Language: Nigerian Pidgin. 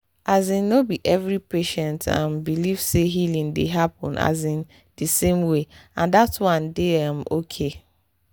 asin no be every patient um believe say healing dey happen um di same way and that one dey um okay